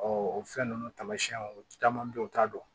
o fɛn ninnu taamasiyɛnw caman bɛ ye u t'a dɔn